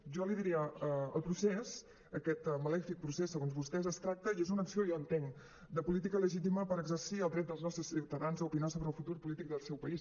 jo li diria el procés aquest malèfic procés segons vostès es tracta i és una acció jo entenc de política legítima per exercir el dret dels nostres ciutadans a opinar sobre el futur polític del seu país